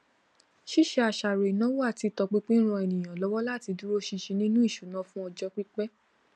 ṣíṣe àṣàrò ìnáwó àti ìtọpinpin ń ran ènìyàn lọwọ láti dúró ṣinṣin nínú ìṣúná fún ọjọ pípẹ